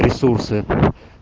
ресурсы